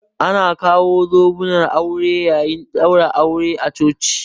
Ana kawo zobunan aure yayin ɗaurin aure a coci